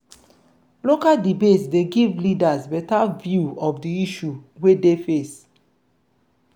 local debate dey give leaders better view of di issue wey dey face